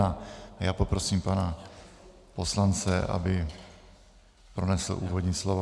A já poprosím pana poslance, aby pronesl úvodní slovo.